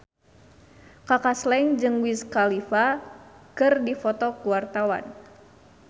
Kaka Slank jeung Wiz Khalifa keur dipoto ku wartawan